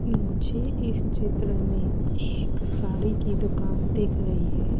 मुझे इस चित्र में एक साड़ी की दुकान देख रही है।